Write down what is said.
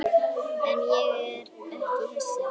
En ég er ekki hissa.